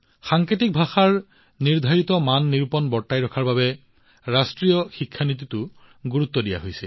সাংকেতিক ভাষাৰ নিৰ্ধাৰিত মানদণ্ড বৰ্তাই ৰখাৰ বাবে ৰাষ্ট্ৰীয় শিক্ষা নীতিতো যথেষ্ট গুৰুত্ব আৰোপ কৰা হৈছে